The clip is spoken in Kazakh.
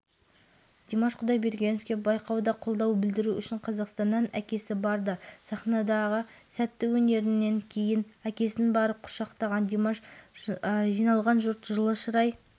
әнді витастың дауысынан модуляциямен тон жоғары орындаған димаштың шеберлігіне көрермендер ғана емес жобаға қатысушы әншілердің өзі таңданыстарын жасыра алмады